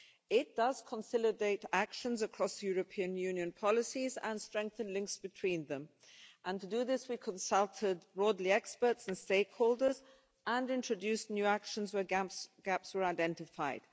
It does consolidate actions across European Union policies and strengthen links between them, and to do this, we consulted broadly experts and stakeholders and introduced new actions where gaps were identified.